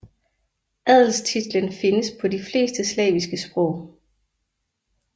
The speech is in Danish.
Adelstitlen findes på de fleste slaviske sprog